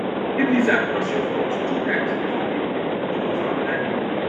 if lizard cross your front two times before day break no go farm that day